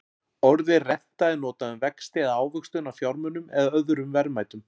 Orðið renta er notað um vexti eða ávöxtun á fjármunum eða öðrum verðmætum.